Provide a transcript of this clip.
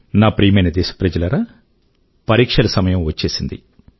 నా ప్రియమైన దేశప్రజలారా పరీక్షల సమయం వచ్చేసింది